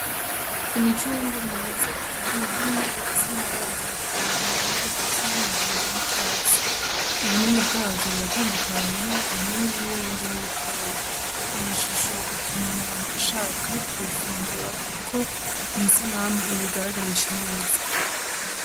Imicunrwe myiza iteranye hamwe ifise amabara atandukanye ari hagati y'umuhondo n'icatsi ubunini bwavyo buratandukanye bimwe n'ibinini bindi n'ibitoye iyishisho ituma umuntu ashaka kubifungura, kuko iyi sanamu ibigaragarisha neza.